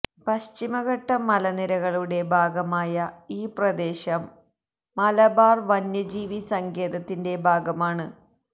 പശ്ചിമഘട്ട മലനിരകളുടെ ഭാഗമായ ഈ പ്രദേശം മലബാര് വന്യജീവി സങ്കേതത്തിന്റെ ഭാഗമാണ്